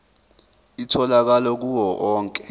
itholakala kuwo onke